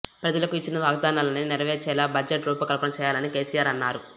ప్రజలకు ఇచ్చిన వాగ్దానాలన్నీ నెరవేర్చేలా బడ్జెట్ రూపకల్పన చేయాలని కేసీఆర్ అన్నారు